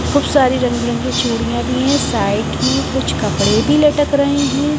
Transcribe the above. कुछ सारी रंग बिरंगी चूड़ियां भी हैं साइड में कुछ कपड़े भी लटक रहे हैं।